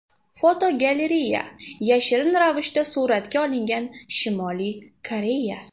Fotogalereya: Yashirin ravishda suratga olingan Shimoliy Koreya.